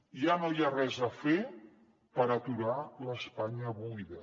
ja no hi ha res a fer per aturar l’espanya buida